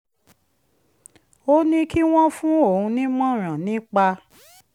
ó ní kí wọ́n fún òun nímọ̀ràn nípa